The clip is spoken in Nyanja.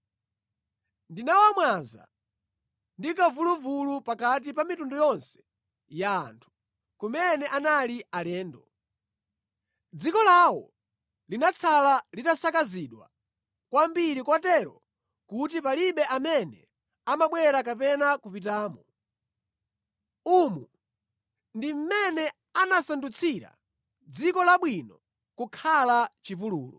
‘Ndinawamwaza ndi kamvuluvulu pakati pa mitundu yonse ya anthu, kumene anali alendo. Dziko lawo linatsala litasakazidwa kwambiri kotero kuti palibe amene amabwera kapena kupitamo. Umu ndi mmene anasandutsira dziko labwino kukhala chipululu.’ ”